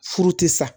Furu tɛ sa